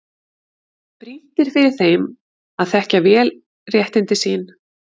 Brýnt er fyrir þeim að þekkja vel réttindi sín og skyldur.